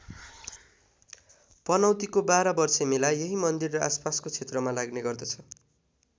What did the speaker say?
पनौतीको बाह्र वर्षे मेला यही मन्दिर र आसपासको क्षेत्रमा लाग्ने गर्दछ।